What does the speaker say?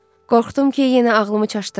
Qorxdum ki, yenə ağlımı çaşdırasız.